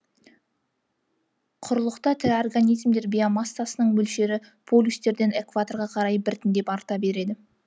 құрлықта тірі организмдер биомассасының мөлшері полюстерден экваторға қарай біртіндеп арта береді